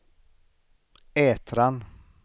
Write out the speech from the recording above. Ätran